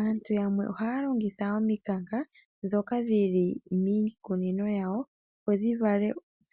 Aantu yamwe ohaya longitha omiikanka dhoka dhili miikunino yawo. Opo dhi